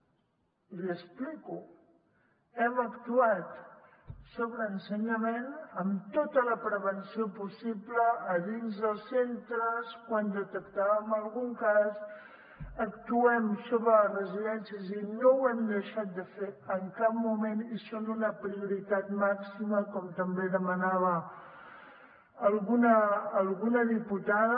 l’hi explico hem actuat sobre ensenyament amb tota la prevenció possible a dins dels centres quan detectàvem algun cas actuem sobre les residències i no ho hem deixat de fer en cap moment i són una prioritat màxima com també demanava alguna diputada